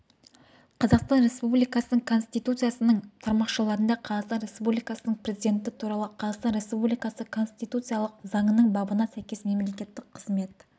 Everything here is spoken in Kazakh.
қазақстан республикасы конституциясының тармақшаларына қазақстан республикасының президенті туралы қазақстан республикасы конституциялық заңының бабына сәйкес мемлекеттік қызмет